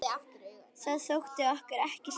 Það þótti okkur ekki slæmt.